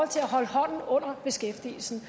til at holde hånden under beskæftigelsen